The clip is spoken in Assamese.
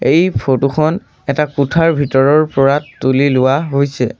এই ফটো খন এটা কোঠাৰ ভিতৰৰ পৰা তুলি লোৱা হৈছে।